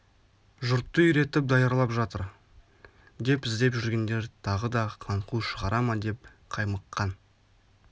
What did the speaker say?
жұртты үйретіп даярлап жатыр деп іздеп жүргендер тағы да қаңқу шығара ма деп қаймыққан